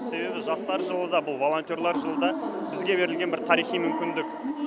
себебі жастар жылы да бұл волонтерлар жылы да бізге берілген бір тарихи мүмкіндік